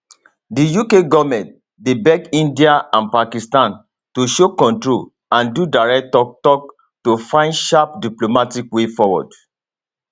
di uk goment dey beg india and pakistan to show control and do direct tok tok to fins sharp diplomatic way forward